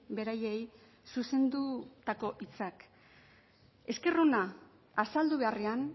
beraiei zuzendutako hitzak esker ona azaldu beharrean